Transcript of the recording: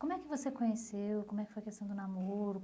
Como é que você conheceu, como é que foi a questão do namoro?